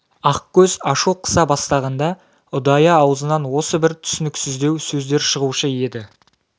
ақкөз ашу қыса бастағанда ұдайы аузынан осы бір түсініксіздеу сөздер шығушы еді